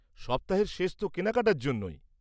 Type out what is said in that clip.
সপ্তাহের শেষ তো কেনাকাটার জন্যই।